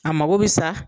A mako bɛ sa